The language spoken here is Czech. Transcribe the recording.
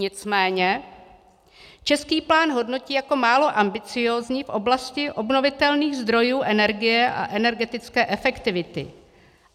Nicméně český plán hodnotí jako málo ambiciózní v oblasti obnovitelných zdrojů energie a energetické efektivity.